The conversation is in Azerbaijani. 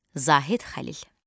Zahid Xəlil.